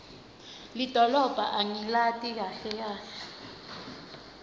lidolobha angilati kahle kahle